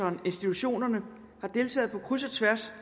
og institutionerne har deltaget på kryds og tværs